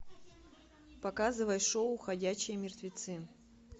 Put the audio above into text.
показывай шоу ходячие мертвецы